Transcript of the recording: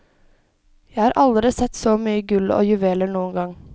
Jeg har aldri sett så mye gull og juveler noen gang.